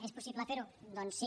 és possible fer ho doncs sí